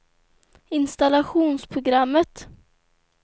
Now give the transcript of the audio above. installationsprogrammet